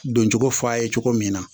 Doncogo f'a ye cogo min na